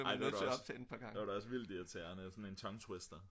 ej det var da også vildt irriterende sådan en tongue twister